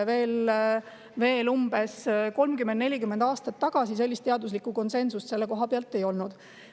Veel umbes 30–40 aastat tagasi sellist teaduslikku konsensust selle koha pealt ei olnud.